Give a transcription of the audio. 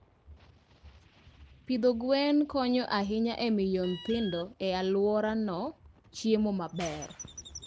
Pidho gwen konyo ahinya e miyo nyithindo e alworano chiemo maber.